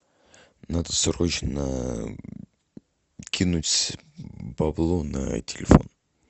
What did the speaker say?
надо срочно кинуть бабло на телефон